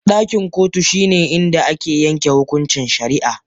Dakin kotun shine inda ake yanke hukuncin shari'a.